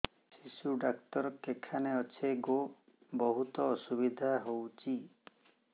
ଶିର ଡାକ୍ତର କେଖାନେ ଅଛେ ଗୋ ବହୁତ୍ ଅସୁବିଧା ହଉଚି